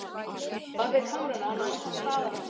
Bakvið kamrana nam hann staðar og sagði lágt